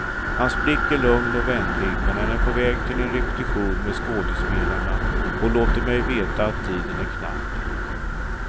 Hans blick är lugn och vänlig men han är på väg till en repetition med skådespelarna och låter mig veta att tiden är knapp.